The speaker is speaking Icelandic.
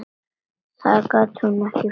Þá gat hún ekki flogið.